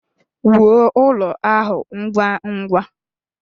Wuo ụlọ ahụ ngwa ngwa!